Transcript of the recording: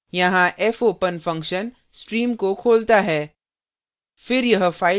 यहाँ fopen function stream को खोलता है